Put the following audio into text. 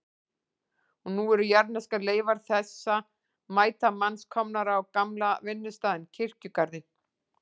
Og nú eru jarðneskar leifar þessa mæta manns komnar á gamla vinnustaðinn, kirkjugarðinn.